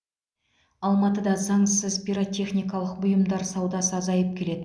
алматыда заңсыз пиротехникалық бұйымдар саудасы азайып келеді